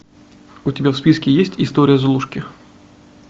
у тебя в списке есть история золушки